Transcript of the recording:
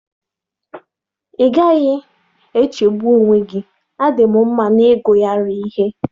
Ị gaghị echegbu onwe gị, A dị m mma n'ịgụgharị ihe.